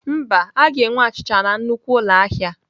Mba, a ga-enwe achịcha na nnukwu ụlọ ahịa.